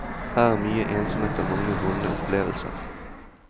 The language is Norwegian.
Her er mye ensomhet og mange vonde opplevelser.